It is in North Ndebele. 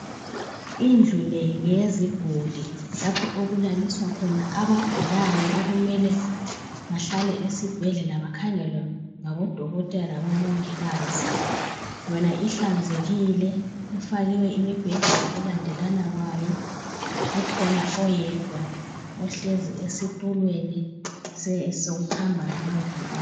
Indlu le ngeyeziguli lapho okulaliswa khona abagulayo okumele bahlale esibhedlela bakhangelwe ngabodokotela labo mongikazi. Yona ihlanzekile ifakiwe imibheda ngokulandelana kwayo kukhona oyedwa ohlezi esitulweni sokuhamba ngamaviri.